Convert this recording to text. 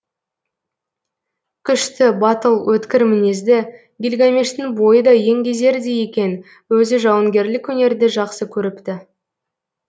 күшті батыл өткір мінезді гильгамештің бойы да еңгезердей екен өзі жауынгерлік өнерді жақсы көріпті